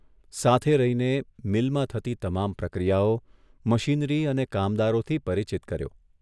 સાથે રહીને મીલમાં થતી તમામ પ્રક્રિયાઓ, મશીનરી અને કામદારોથી પરિચિત કર્યો.